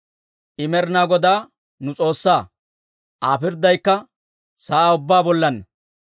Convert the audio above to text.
I Med'inaa Godaa nu S'oossaa; Aa pirddaykka sa'aa ubbaa bollaanna.